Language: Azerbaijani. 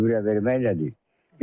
Gübrə vermək nədir?